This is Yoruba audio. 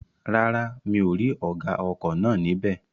Rárá, mi ò rí ọ̀gá ọkọ̀ náà ní bẹ̀